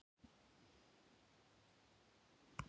Ég hef ekki látið mig dreyma um neitt sérstakt, mamma.